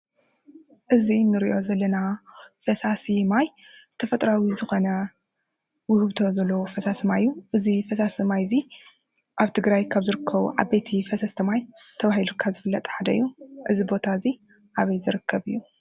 እዚ ንሪኦ ዘለና ፈሳሲ ማይ ተፈጥራዊ ዝኾነ ውህብቶ ዘለዎ ፈሳሲ ማይ እዩ:: እዚ ፈሳሲ ማይ እዚ ኣብ ትግራይ ካብ ዝርከቡ ዓበይቲ ፈሰስቲ ማይ ተባሂሉ ካብ ዝፍለጥ ሓደ እዩ:: እዚ ቦታ እዚ ኣበይ ዝርከብ እዩ?